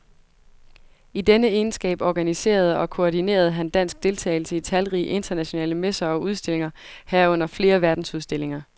I denne egenskab organiserede og koordinerede han dansk deltagelse i talrige internationale messer og udstillinger, herunder flere verdensudstillinger.